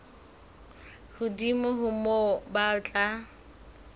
hodimo ho moo ba tla